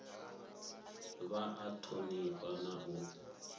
vha a thonifha na u